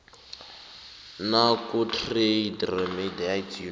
nakutrade remedies unit